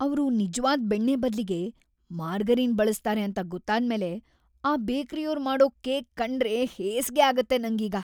ಅವ್ರು ನಿಜ್ವಾದ್ ಬೆಣ್ಣೆ ಬದ್ಲಿಗೆ ಮಾರ್ಗರೀನ್ ಬಳ್ಸ್ತಾರೆ ಅಂತ ಗೊತ್ತಾದ್ಮೇಲೆ ಆ ಬೇಕ್ರಿಯೋರ್ ಮಾಡೋ ಕೇಕ್ ಕಂಡ್ರೇ ಹೇಸ್ಗೆ ಅಗತ್ತೆ ನಂಗೀಗ.